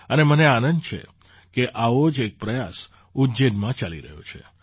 અને મને આનંદ છે કે આવો જ એક પ્રયાસ ઉજ્જૈનમાં ચાલી રહ્યો છે